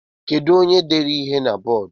Kedu onye dere ihe a na bọọdu?